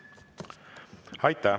Õige olevat kasutada sõna "valgustamine".